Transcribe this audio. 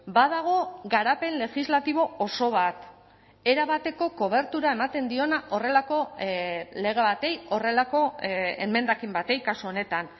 badago garapen legislatibo oso bat erabateko kobertura ematen diona horrelako lege bati horrelako emendakin bati kasu honetan